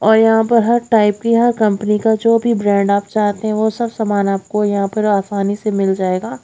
और यहां पर हर टाइप की हर कंपनी का जो भी ब्रांड आप चाहते हो वो सब सामान आपको यहां पर आसानी से मिल जाएगा।